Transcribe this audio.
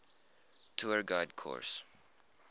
tour guide course